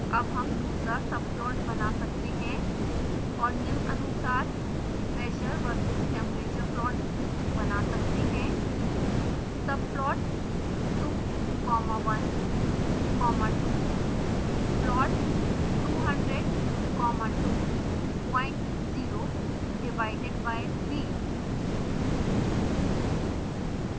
अब हम दूसरा subplot बना सकते हैं और निम्नानुसार pressure v/s temperature plot बना सकते हैं